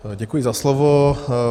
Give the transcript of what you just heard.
Děkuji za slovo.